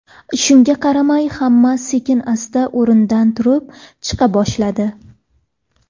Shunga qaramay, hamma sekin-asta o‘rnidan turib, chiqa boshladi.